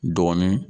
Dɔɔnin